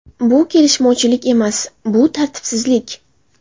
Bu kelishmovchilik emas, bu tartibsizlik.